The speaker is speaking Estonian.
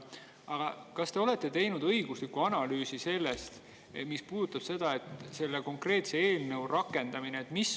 Aga kas te olete teinud õigusliku analüüsi selle kohta, mis puudutab selle konkreetse eelnõu rakendamist?